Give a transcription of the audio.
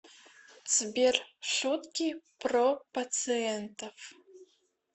сбер шутки про пациентов